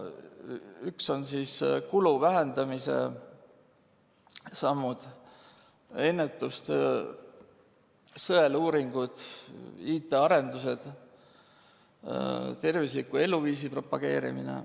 Esiteks on kulu vähendamise sammud: ennetustöö, sõeluuringud, IT‑arendused, tervisliku eluviisi propageerimine.